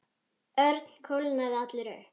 Örn kólnaði allur upp.